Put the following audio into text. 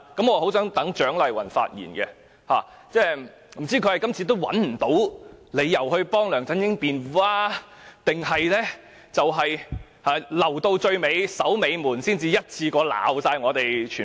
我很想聽蔣麗芸議員發言，不知道她是找不到理由替梁振英辯論，還是要留到最後才批評我們？